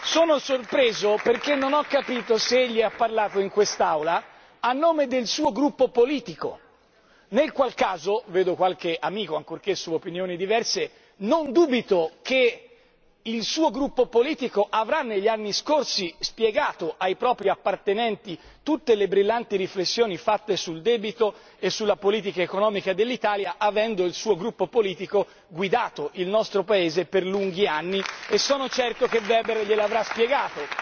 Sono sorpreso perché non ho capito se egli ha parlato in quest'Aula a nome del suo gruppo politico, nel qual caso vedo qualche amico, ancorché di opinioni diverse non dubito che il suo gruppo politico avrà negli anni scorsi spiegato ai propri aderenti tutte le brillanti riflessioni fatte sul debito e sulla politica economica dell'Italia, avendo il suo gruppo politico guidato il nostro Paese per lunghi anni e sono certo che a Weber glielo avrà spiegato.